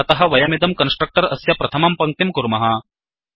अतः वयमिदं कन्स्ट्रक्टर् अस्य प्रथमं पङ्क्तिं कुर्मः